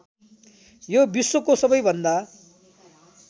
यो विश्वको सबैभन्दा